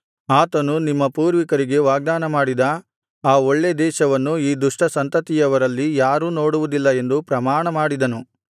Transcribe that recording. ಆತನು ನಿಮ್ಮ ಪೂರ್ವಿಕರಿಗೆ ವಾಗ್ದಾನಮಾಡಿದ ಆ ಒಳ್ಳೇ ದೇಶವನ್ನು ಈ ದುಷ್ಟ ಸಂತತಿಯವರಲ್ಲಿ ಯಾರೂ ನೋಡುವುದಿಲ್ಲ ಎಂದು ಪ್ರಮಾಣಮಾಡಿದನು